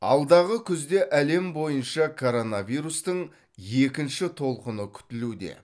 алдағы күзде әлем бойынша коронавирустың екінші толқыны күтілуде